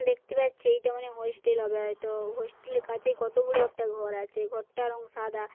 দেখতে পাচ্ছি এইটা মানে হোস্টেল হবে হয়তো হোস্টেল -এর কাছে কত বড়ো একটা ঘর আছে। ঘর টার রং সাদা।